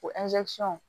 Ko